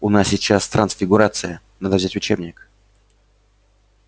у нас сейчас трансфигурация надо взять учебник